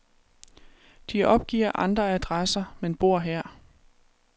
De opgiver andre adresser, men bor her.